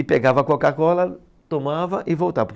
E pegava a Coca-Cola, tomava e voltava